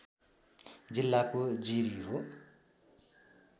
जिल्लाको जिरी हो